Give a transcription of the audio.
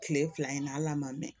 Kile fila in na hal'a ma mɛn